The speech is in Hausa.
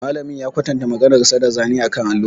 Malamin ya kwatanta maganarsa da zane akan allo.